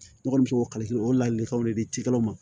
Ne kɔni bɛ se k'o kalan o ladilikanw de di cikɛlaw ma